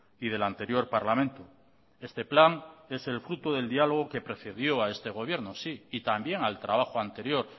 y del anterior parlamento este plan es el fruto del diálogo que precedió a este gobierno sí y también al trabajo anterior